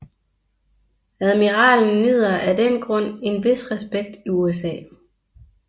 Admiralen nyder af den grund en vis respekt i USA